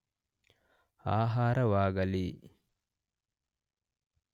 ಆಹಾರವಾಗಲಿ